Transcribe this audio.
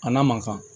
A n'a mankan